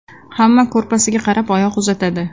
Hamma kurpasiga qarab oyoq uzatadi.